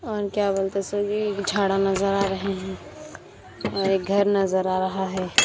और क्या बोलते सभी झाडा नजर आ रहे हैं और एक घर नजर आ रहा है।